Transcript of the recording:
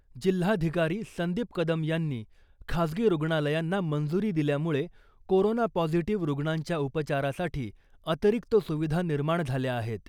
जिल्हाधिकारी संदीप कदम यांनी खाजगी रुग्णालयांना मंजूरी दिल्यामूळे कोरोना पॉझिटीव्ह रुग्णांच्या उपचारासाठी अतिरिक्त सुविधा निर्माण झाल्या आहेत .